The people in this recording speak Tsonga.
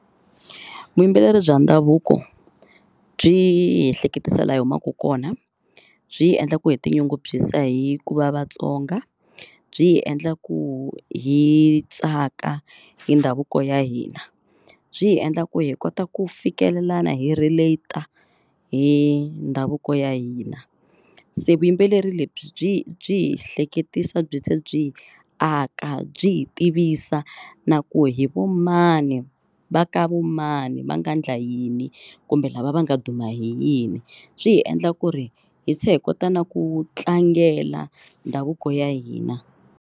Vuyimbeleri bya ndhavuko byi hi ehleketisa laha hi humaka kona. Byi hi endla ku hi tinyungubyisa hi ku va vatsonga, byi hi endla ku hi tsaka hi ndhavuko ya hina, byi hi endla ku hi kota ku fikelela hi relat-a hi ndhavuko ya hina. Se vuyimbeleri lebyi byi hi byi hi hleketisa byi tlhe byi aka byi hi tivisa na ku hi vo mani va ka vo mani va nga endla yini kumbe lava va nga duma hi yini. Byi hi endla ku ri hi tlhe hi kota na ku tlangela ndhavuko ya hina.